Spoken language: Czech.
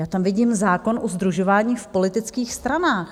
Já tam vidím zákon o sdružování v politických stranách.